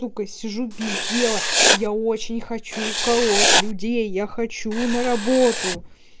сижу без дела я очень хочу уколоть людей я хочу на работу